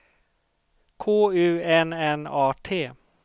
K U N N A T